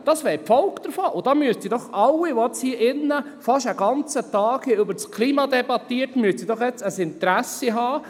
Das wäre die Folge davon, und daran müssten doch alle, die hier in diesem Saal fast einen ganzen Tag lang über das Klima debattiert haben, ein Interesse haben.